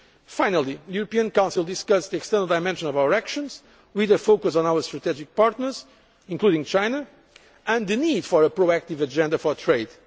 euro area. Finally, the European Council discussed the external dimension of our actions, with a focus on our strategic partners, including China, and the need for a proactive agenda